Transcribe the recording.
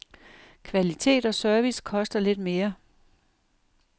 Kvalitet og service koster lidt mere.